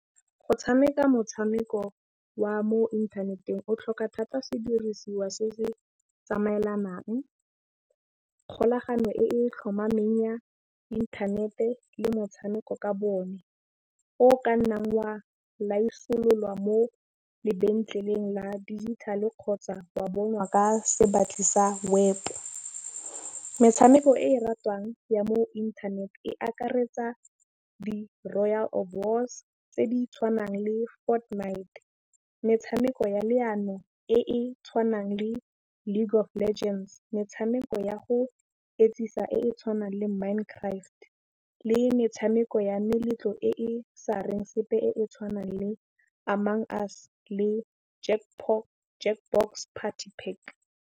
Go tšhameka motšhameko wa mo inthaneteng o tlhoka thata sedirisiwa se se tsamaelanang kgolagano e tlhomameng ya inthanete le motšhameko ka bone. O ka nnang wa laisolola mo lebenkeleng la digital-e kgotsa wa bonwa ka se batli sa web. Metšhameko e ratiwang ya mo inthaneteng e akaretsa di-royal tse di tšhwanang le Fornite metšhameko ya leano e e tšhwanang le League of Legends. Metšhameko ya go etsisa e tšhwanang le Mind Craft le metšhameko ya meletlo e e sa reng sepe e e tšhwanang le Among Us le Jackbox Party Pack.